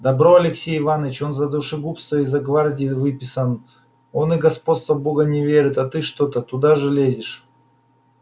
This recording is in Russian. добро алексей иваныч он за душегубство из их гвардии выписан он и господство бога не верит а ты что-то туда же лезешь